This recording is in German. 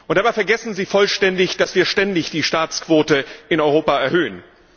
Dabei vergessen Sie vollständig, dass wir ständig die Staatsquote in Europa erhöhen.